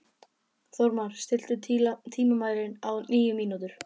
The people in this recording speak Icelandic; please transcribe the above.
Þórmar, stilltu tímamælinn á níu mínútur.